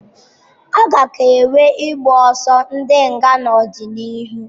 A ka ga-enwe ịgbọsọ ndi nga n'ọdịnihu.